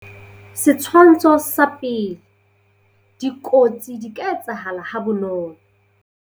Setshwantsho sa pele- Dikotsi di ka etsahala ha bonolo.